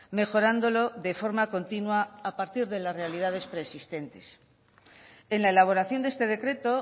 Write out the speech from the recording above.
mejorándolo de forma continua a partir de las realidades preexistentes en la elaboración de este decreto